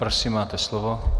Prosím, máte slovo.